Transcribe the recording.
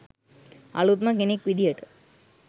අලුත්ම කෙනෙක් විදියට